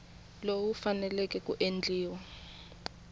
lowu wu faneleke ku endliwa